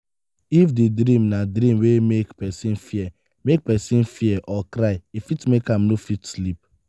if di dream na dream wey make person fear make person fear or cry e fit make am no fit sleep